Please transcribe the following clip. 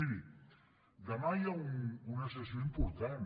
miri demà hi ha una sessió important